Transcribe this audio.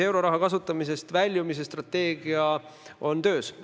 Euroraha kasutamisest väljumise strateegia on töös.